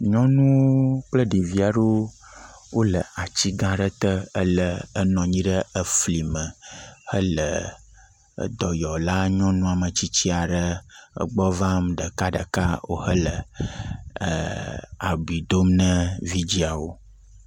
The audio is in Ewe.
Nyɔnuwo kple ɖevi aɖewo wole atsigã aɖe te ele, enɔ anyi ɖe eflime hele dɔyɔla nyɔnu metsitsi aɖe egbɔ vam ɖekaɖeka, wohelɛɛ ɛɛ abui dom na vidziawo.